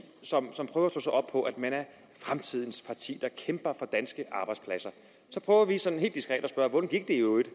som prøver at slå sig på at man er fremtidens parti der kæmper for danske arbejdspladser så prøver vi sådan helt diskret i øvrigt